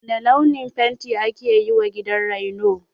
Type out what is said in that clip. Wane launin fenti aka yiwa gidan raino?